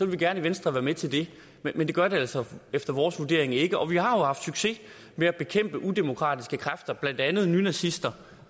vi gerne i venstre være med til det men det gør det altså efter vores vurdering ikke og vi har jo haft succes med at bekæmpe udemokratiske kræfter blandt andet nynazister